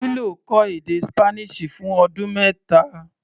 Willow kọ́ èdè Spanish fún ọdún mẹ́ta.